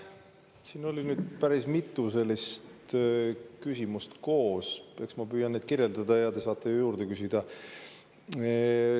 Siin oli nüüd päris mitu küsimust koos, eks ma püüan kirjeldada ja te saate juurde küsida.